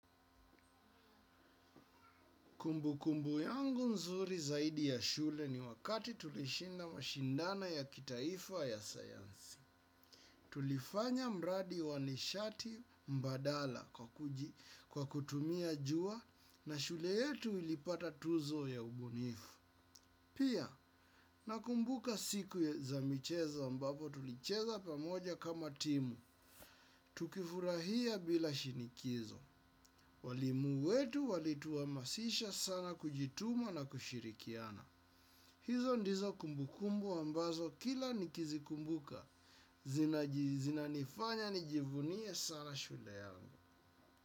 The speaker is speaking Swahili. Kumbu kumbu yangu nzuri zaidi ya shule ni wakati tulishinda mashindano ya kitaifa ya sayansi. Tulifanya mradi wanishati mbadala kwa kutumia jua na shule yetu ilipata tuzo ya ubunifu. Pia, nakumbuka siku za michezo ambapo tulicheza pamoja kama timu. Tukifurahia bila shinikizo. Walimu wetu walituhamasisha sana kujituma na kushirikiana. Hizo ndizo kumbukumbu ambazo kila nikizi kumbuka. Zina nifanya nijivunie sana shule yangu.